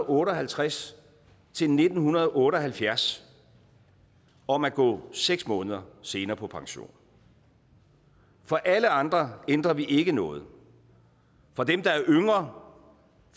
otte og halvtreds til nitten otte og halvfjerds om at gå seks måneder senere på pension for alle andre ændrer vi ikke noget for dem der er yngre